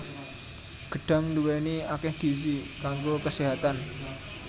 Gedhang nduwèni akèh gizi kanggo keséhatan